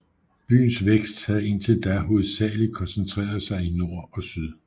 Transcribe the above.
Byens vækst havde indtil da hovedsageligt koncentreret sig i nord og syd